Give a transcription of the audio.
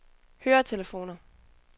høretelefoner